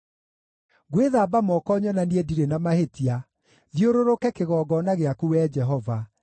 Ngwĩthamba moko nyonanie ndirĩ na mahĩtia, thiũrũrũke kĩgongona gĩaku, Wee Jehova,